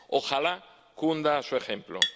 ¡Ojalá cunda su ejemplo!